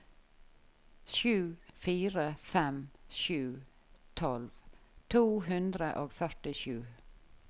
sju fire fem sju tolv to hundre og førtisju